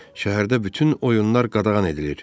Şəhərdə bütün oyunlar qadağan edilir.